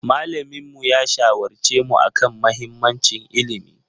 Malaminmu ya shawarce mu a kan mahimmancin ilimi.